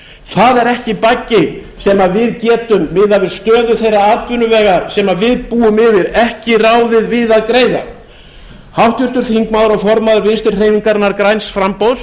það er ekki baggi sem við getum miðað við stöðu þeirra atvinnuvega sem við búum yfir ekki ráðið við að greiða háttvirtur þingmaður og formaður vinstri hreyfingarinnar græns framboðs